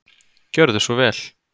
Gjörðu svo vel.